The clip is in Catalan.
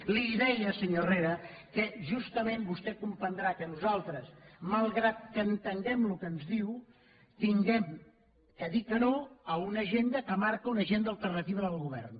li deia senyor herrera que justament vostè comprendrà que nosaltres malgrat que entenguem el que ens diu hàgim de dir que no a una agenda que marca una agenda alternativa del govern